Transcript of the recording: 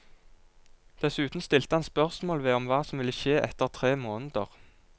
Dessuten stilte han spørsmål ved om hva som ville skje etter tre måneder.